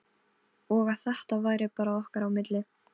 Og að þetta væri bara okkar á milli.